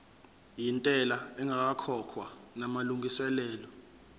yentela ingakakhokhwa namalungiselo